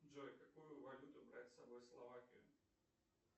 джой какую валюту брать с собой в словакию